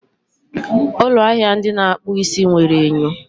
ụlọ ahịa ndị na-akpụ isi nwere enyo